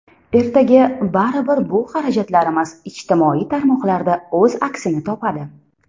Ertaga baribir bu xarajatlarimiz ijtimoiy tarmoqlarda o‘z aksini topadi.